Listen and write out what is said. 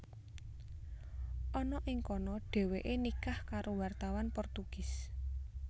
Ana ing kana Dhèwèké nikah karo wartawan Portugis